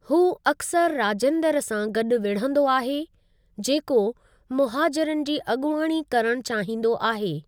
हू अक्सरि राजेंद्र सां गॾु विढ़ंदो आहे, जेको मुहाजिरनि जी अॻुवाणी करणु चाहींदो आहे।